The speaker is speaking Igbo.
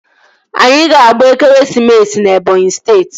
Anyị ga-agba ekeresimesi na Ebọnyi steeti